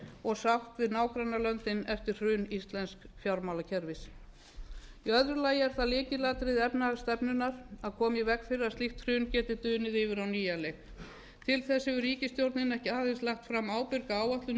og sátt við nágrannalöndin ár hrun íslensks fjármálakerfis í öðru lagi er það lykilatriði efnahagsstefnunnar að koma í veg fyrir að slíkt hrun geti dunið yfir á nýjan leik til þess hefur ríkisstjórnin ekki aðeins lagt fram ábyrga áætlun í